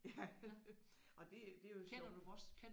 Ja og det det er jo sjovt